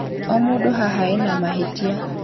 O mũndũ haha ena mahĩtia